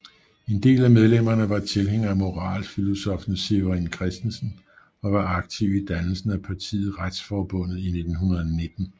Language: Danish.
En del af medlemmerne var tilhængere af moralfilosoffen Severin Christensen og var aktive i dannelsen af partiet Retsforbundet i 1919